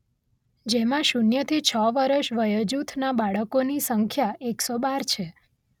જેમાં શૂન્યથી છ વર્ષ વયજુથનાં બાળકોની સંખ્યા એક સો બાર છે.